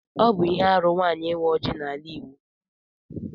Ọ bụ ihe arụ nwaanyị ịwa ọjị n'ala Igbo